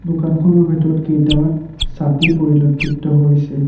দোকানখনৰ ভিতৰত কেইটামান ছাতি পৰিলক্ষিত হৈছে।